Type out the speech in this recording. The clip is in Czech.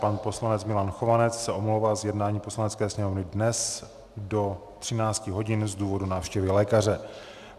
Pan poslanec Milan Chovanec se omlouvá z jednání Poslanecké sněmovny dnes do 13 hodin z důvodu návštěvy lékaře.